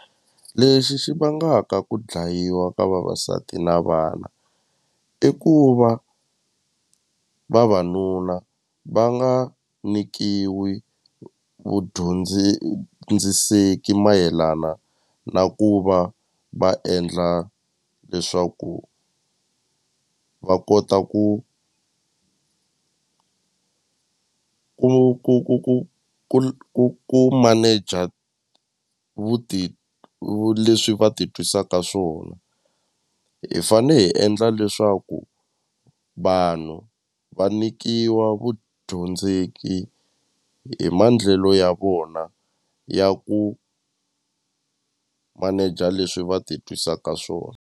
Lexi xi vangaka ku dlayiwa ka vavasati na vana i ku va vavanuna va nga nyikiwi mayelana na ku va va endla leswaku va kota ku ku ku ku ku ku ku ku manager leswi va ti twisaka swona hi fane hi endla leswaku vanhu va nyikiwa vudyondzeki hi maendlelo ya vona ya ku manager leswi va ti twisaka swona.